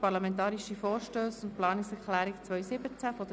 Parlamentarische Vorstösse und Planungserklärungen 2017.